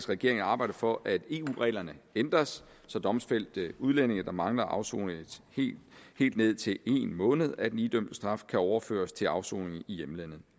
regeringen at arbejde for at eu reglerne ændres så domfældte udlændinge der mangler at afsone helt ned til en måned af den idømte straf kan overføres til afsoning i hjemlandet